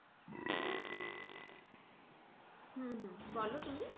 হম হম বলো তুমি